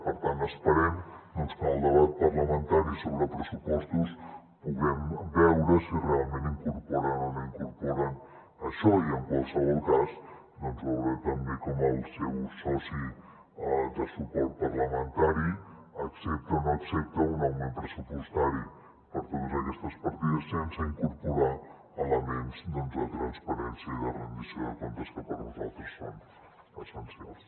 per tant esperem doncs que en el debat parlamentari sobre pressupostos puguem veure si realment incorporen o no incorporen això i en qualsevol cas veure també com el seu soci de suport parlamentari accepta o no accepta un augment pressupostari per a totes aquestes partides sense incorporar hi elements de transparència i de rendició de comptes que per nosaltres són essencials